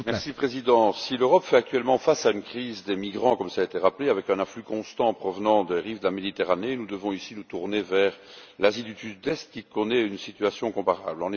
Monsieur le Président, si l'Europe fait actuellement face à une crise des migrants, comme cela a été rappelé, avec un afflux constant en provenance des rives de la Méditerranée, nous devons aussi nous tourner vers l'Asie du Sud Est, qui connaît une situation comparable.